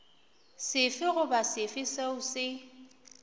sefe goba sefe seo se